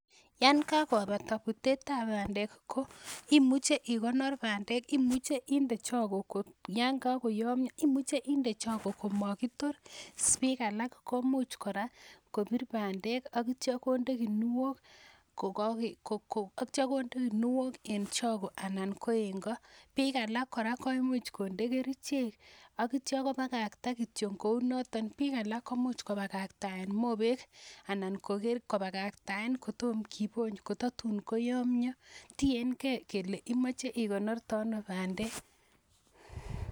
Yon kakopata putetab pandek ko imuchei ikonor pandek imuchei inde choko yon kakoyomyo imuchei inde choko komakitor biik alak komuuch kora kopir pandek akityo konde kinuok en choko anan ko en ko biik alak kora ko imuuch kode kerichek akityo kopakakta kityo kou noton biik alak ko muuch kopakaktaen mopek anan koker kopakaktaen kotom kipony ko tatun koyomyo tiengei kele imoche ikonorte ano pandek